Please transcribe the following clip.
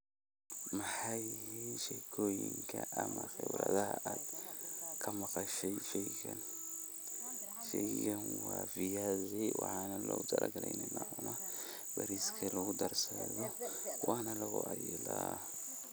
Maxay yihin sheekooyinka ama khibradaha aad ka maqashi sheygan, sheygan wa fiyasi waxana lowtalagalay ina lacuno bariska lagu darsadho wana lugu cayela.